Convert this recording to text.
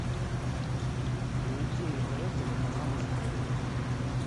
найти на тв телеканал история